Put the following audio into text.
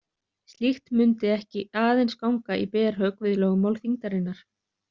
Slíkt mundi ekki aðeins ganga í berhögg við lögmál þyngdarinnar.